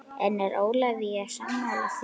En er Ólafía sammála því?